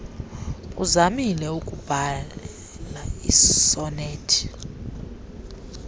uzamile ukubhaia iisonethi